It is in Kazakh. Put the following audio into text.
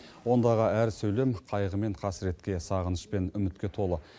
ондағы әр сөйлем қайғы мен қасіретке сағыныш пен үмітке толы